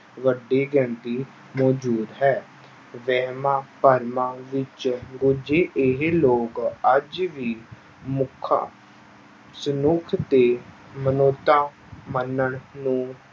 ਵੱਡੀ ਗਿਣਤੀ ਮੌਜੂਦ ਹੈ ਵਹਿਮਾਂ ਭਰਮਾਂ ਵਿੱਚ ਰੁੱਝੇ ਇਹ ਲੋਕ ਅੱਜ ਵੀ ਮੁੱਖਾਂ ਸਨੁੱਖ ਤੇ ਮਨੋਤਾਂ ਮੰਨਣ ਨੂੰ